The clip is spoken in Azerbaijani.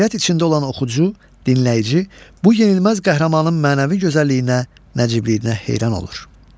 Heyrət içində olan oxucu, dinləyici bu yenilməz qəhrəmanın mənəvi gözəlliyinə, nəcibliyinə heyran olur.